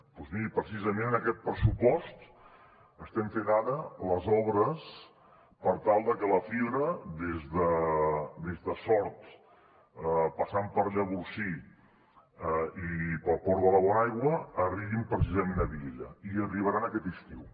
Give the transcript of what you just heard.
doncs miri precisament amb aquest pressupost estem fent ara les obres per tal de que la fibra des de sort passant per llavorsí i pel port de la bonaigua arribi precisament a vielha i hi arribarà aquest estiu